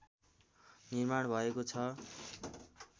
निर्माण भएको छ